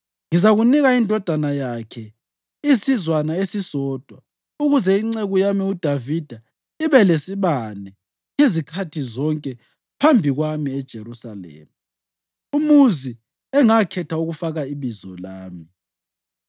Ngizanika indodana yakhe isizwana esisodwa ukuze inceku yami uDavida ibe lesibane ngezikhathi zonke phambi kwami eJerusalema, umuzi engakhetha ukufaka iBizo lami.